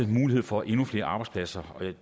mulighed for endnu flere arbejdspladser der